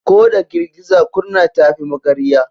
Ko da girgiza kurna ta fi magarya.